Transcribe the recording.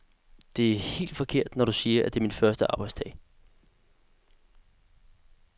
Det er helt forkert, når du siger, at det er min første arbejdsdag.